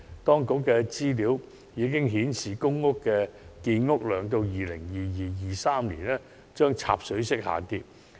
當局資料已經顯示，公屋建屋量在 2022-2023 年度將插水式下跌。